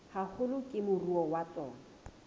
haholo ke moruo wa tsona